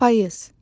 Payız.